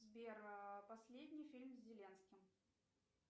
сбер последний фильм с зеленским